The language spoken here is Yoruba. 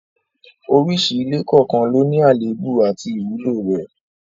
Oríṣi ilé kọ̀ọ̀kan ló ní àléébù àti ìwúlò rẹ̀